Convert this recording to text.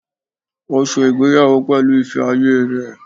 Ó se ìgbéyàwó pẹ̀lú ìfẹ́ ayé rẹ̀